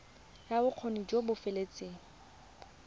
ya bokgoni jo bo feteletseng